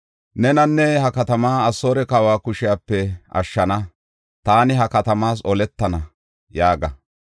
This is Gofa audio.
Nenanne ha katamaa Asoore kawa kushepe ashshana; taani ha katamaas oletana” yaaga.